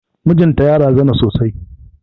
Mijin ta ya razana sosai.